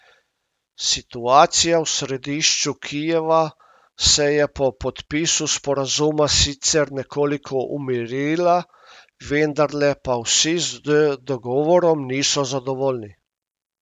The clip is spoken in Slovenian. Situacija v središču Kijeva se je po podpisu sporazuma sicer nekoliko umirila, vendarle pa vsi z dogovorom niso zadovoljni.